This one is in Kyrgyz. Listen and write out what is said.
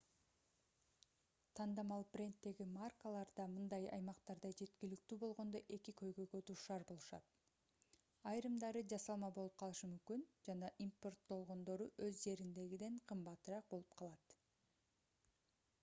тандамал бренддеги маркаларда мындай аймактарда жеткиликтүү болгондо эки көйгөйгө дуушар болушат айрымдары жасалма болуп калышы мүмкүн жана импорттолгондору өз жердегиден кымбатыраак болуп калат